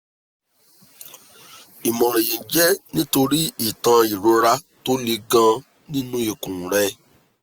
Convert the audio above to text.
ìmọ̀ràn yìí jẹ́ nítorí ìtàn ìrora tó le gan-an nínú ikùn rẹ̀